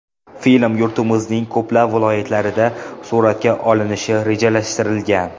Film yurtimizning ko‘plab viloyatlarida suratga olinishi rejalashtirilgan.